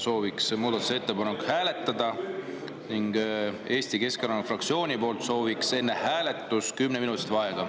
Sooviks muudatusettepanekut hääletada ning Eesti Keskerakonna fraktsiooni poolt sooviks enne hääletust kümneminutilist vaheaega.